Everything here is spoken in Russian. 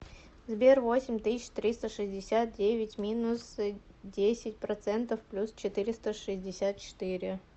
сбер восемь тысяч триста шестьдесят девять минус десять процентов плюс четыреста шестьдесят четыре